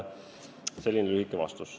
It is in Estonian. Selline lühike vastus.